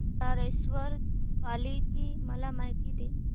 बल्लाळेश्वर पाली ची मला माहिती दे